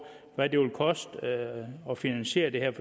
hvad det vil koste at finansiere dem